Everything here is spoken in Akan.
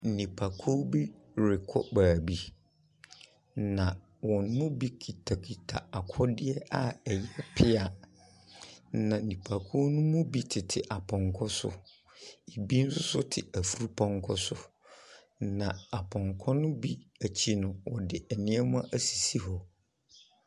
Nipa kuo bi rekɔ beebi na wɔn mu bi kitakita akodeɛ a ɛyɛ pia. Na nipa kuo ne mu bi tete apɔnkɔ so, ebi soso te efurpɔnkɔ so. Na apɔnkɔ ne bi ekyi no wɔde nneɛma esisi hɔ.